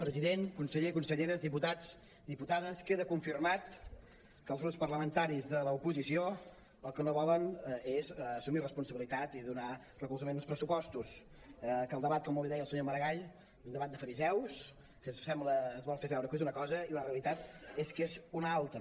president conseller conselleres diputats diputades queda confirmat que els grups parlamentaris de l’oposició el que no volen és assumir responsabilitat i donar recolzament als pressupostos que el debat com molt bé deia el senyor maragall és un debat de fariseus que es vol fer veure que és una cosa i la realitat és que n’és una altra